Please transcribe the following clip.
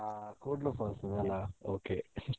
ಹಾ Koodlu falls ಇದೆಯಲ್ಲಾ okay .